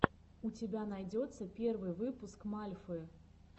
у тебя найдется первый выпуск мальфы